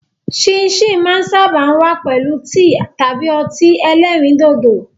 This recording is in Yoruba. Síìnsìn máa ń sáábà wá pẹ̀lú tíì tàbí ọtí ẹlẹ́rìndòdò.